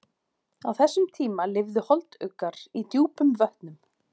Á þessum tíma lifðu holduggar í djúpum vötnum.